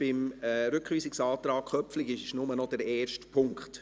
Beim Rückweisungsantrag Köpfli gibt es nur noch den ersten Punkt.